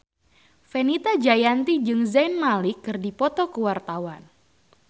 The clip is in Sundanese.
Fenita Jayanti jeung Zayn Malik keur dipoto ku wartawan